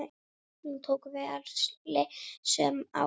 Nú tóku við erilsöm ár.